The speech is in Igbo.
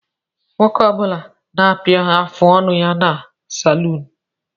Nwoke Ọ bula na-akpu afụ ọnụ ya ná saluunu.